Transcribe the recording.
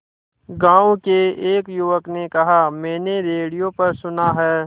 गांव के एक युवक ने कहा मैंने रेडियो पर सुना है